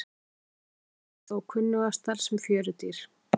Jafnfætlur eru þó kunnugastar sem fjörudýr.